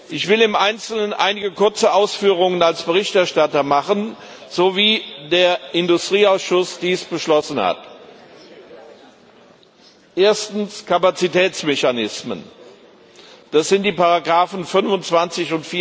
Ich will im Einzelnen einige kurze Ausführungen als Berichterstatter darüber machen, was der Industrieausschuss beschlossen hat Erstens Kapazitätsmechanismen, das sind die Ziffern 25